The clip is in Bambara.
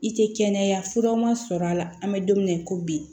I tɛ kɛnɛya furaw ma sɔrɔ a la an bɛ don min na i ko bi